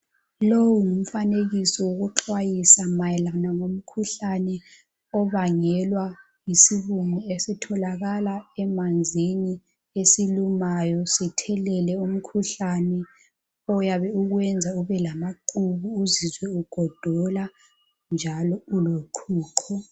Lowu ngumfanekiso wokuxwayisa ngemikhuhlane obangelwa yisibungu esitholakala emanzini esilumayo sithelele umkhuhlane oyabe ukwenza ubelamaqhubu uzizwe ugodola njalo uloqhuqho.